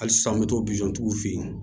Hali sisan an bɛ t'o tigiw fɛ yen